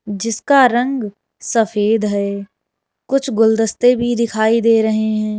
जीसका रंग सफेद है कुछ गुलदस्ते भी दिखाई दे रहे हैं।